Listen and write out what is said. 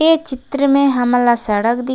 ये चित्र में हमला सड़क दिखत--